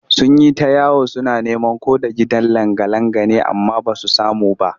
Sun yi ta yawo suna neman ko da gidan langa-langa ne amma ba su samu ba